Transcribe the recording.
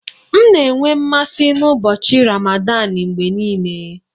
M na-enwe mmasị n'ụbọchị Ramadan mgbe niile